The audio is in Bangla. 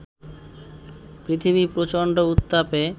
পৃথিবী প্রচণ্ড উত্তাপে